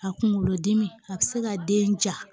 A kunkolodimi a bɛ se ka den ja